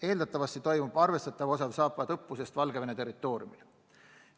Eeldatavasti toimub arvestatav osa Zapadi õppusest Valgevene territooriumil.